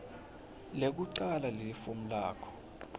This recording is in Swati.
lekucala lelifomu lakho